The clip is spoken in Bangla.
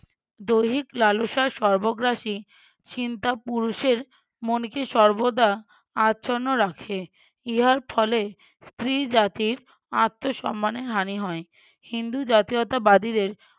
দৈহিক লালসার সর্বগ্রাসী চিন্তা পুরুষের মনকে সর্বদা আচ্ছন্ন রাখে। ইহার ফলে স্ত্রী জাতির আত্মসম্মানের হানি হয়। হিন্দু জাতীয়তাবাদীদের